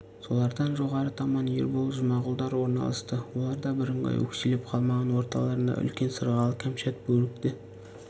солардан жоғары таман ербол жұмағұлдар орналасты олар да бірыңғай өкшелеп қалмаған орталарына үлкен сырғалы кәмшат бөрікті